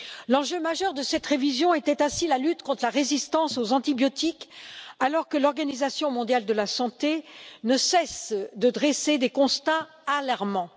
L'enjeu majeur de cette révision était ainsi la lutte contre la résistance aux antibiotiques, alors que l'Organisation mondiale de la santé ne cesse de dresser des constats alarmants.